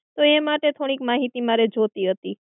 તો એ માટે થોડીક માહિતી મારે જોઈતી હતી.